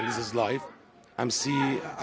svo slæmt að